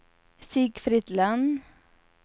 Sigfrid Lönn